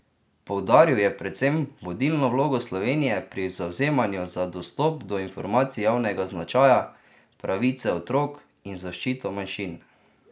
Poudaril je predvsem vodilno vlogo Slovenije pri zavzemanju za dostop do informacij javnega značaja, pravice otrok in zaščito manjšin.